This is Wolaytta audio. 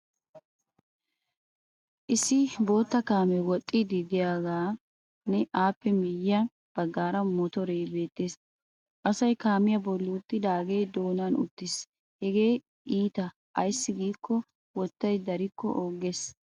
Issi bootta kaamee woxxiiddi diyageenne appe miyye baggaara motoree beettees. Asay kaamiya bolli uttidaagee doonan uttiis hagee iita ayssi giikko wottay darikko ooggees.